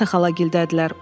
“Marta xala gildədilər.